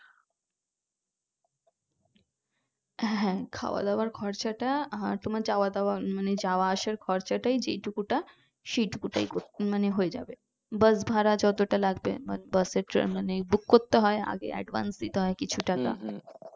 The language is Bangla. হ্যাঁ খাওয়াদাওয়ার খরচটা আর তোমার যাওয়া দাওয়া মানে যাওয়া আসার খরচটাই যে টুকুটা সেই টুকুটাই উম মানে হয়ে যাবে বাস ভাড়া যতটা লাগবে মানে বাস এর তা মানে book করতে হয় আগে advance দিতে হয় কিছু টাকা